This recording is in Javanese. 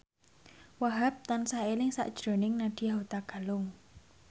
Wahhab tansah eling sakjroning Nadya Hutagalung